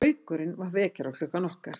Gaukurinn var vekjaraklukkan okkar.